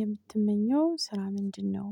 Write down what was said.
የምትመኘው ስራ ምንድነው?